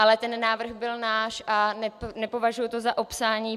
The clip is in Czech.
Ale ten návrh byl náš a nepovažuji to za opsání.